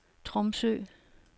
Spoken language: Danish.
Tromsø